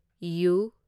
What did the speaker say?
U